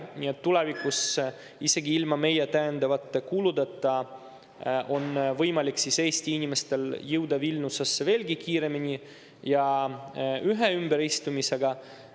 Nii et tulevikus isegi ilma meie täiendavate kuludeta on võimalik Eesti inimestel jõuda Vilniusesse veelgi kiiremini ja ühe ümberistumisega.